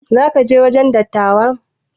Za ka je wajen dattawan?